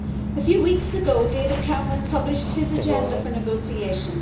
A few weeks ago David Cameron published his agenda for negotiation.